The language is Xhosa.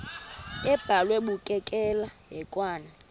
abhalwe bukekela hekwane